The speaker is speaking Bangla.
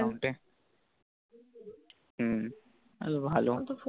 হু তাহলে ভালো